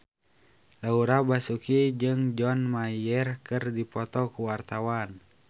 Laura Basuki jeung John Mayer keur dipoto ku wartawan